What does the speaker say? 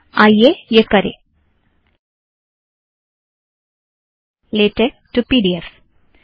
आइए यह करें latex to P D F